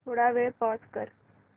थोडा वेळ पॉझ कर